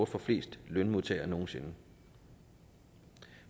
for flest lønmodtagere nogen sinde